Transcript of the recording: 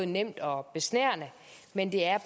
nemt og besnærende men det er